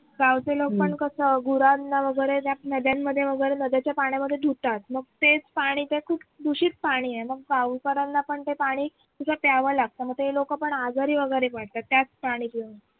गावचे लोक पण कस गुरांना वगैरे ज्या नद्यांमध्ये वगैरे नद्यांच्या पाण्यामध्ये धुतात मग तेच पाणी खूप दूषित पाणी आहे गावकऱ्यांना पण ते पाणी तिथं प्यावं लागत मग ते लोक पण आजारी वगैरे पडतात त्याच पाणी पिऊन